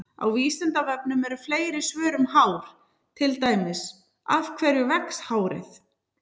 Á Vísindavefnum eru fleiri svör um hár, til dæmis: Af hverju vex hárið?